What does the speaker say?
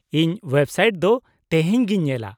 -ᱤᱧ website ᱫᱚ ᱛᱮᱦᱮᱧ ᱜᱤᱧ ᱧᱮᱞᱟ ᱾